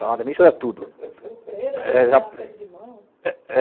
Salada mista era tudo. pêra, aperto de mão